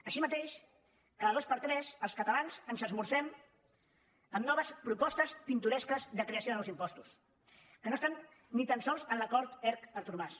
així mateix cada dos per tres els catalans esmorzem amb noves propostes pintoresques de creació de nous impostos que no estan ni tan sols en l’acord erc artur mas